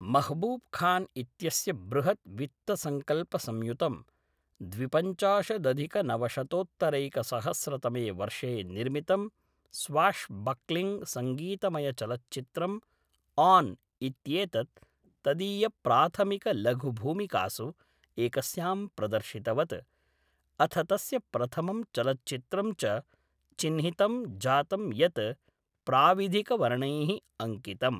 महबूब् खान् इत्यस्य बृहद् वित्तसंकल्पसंयुतं द्विपञ्चाशदधिकनवशतोत्तरैकसहस्रतमे वर्षे निर्मितं स्वाश् बक्लिङ्ग् संगीतमयचलच्चित्रम् आन् इत्येतत् तदीयप्राथमिकलघुभूमिकासु एकस्यां प्रदर्शितवत्, अथ तस्य प्रथमं चलच्चित्रं च चिह्नितं जातं यत् प्राविधिकवर्णैः अङ्कितम्।